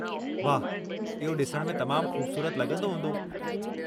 वाहु! इहो ॾिसणु में तमामु खू़बसूरत लॻंदो हूंदो।